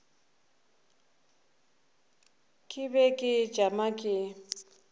ke be ke tšama ke